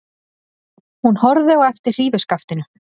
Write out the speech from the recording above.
Hún horfði á eftir hrífuskaftinu.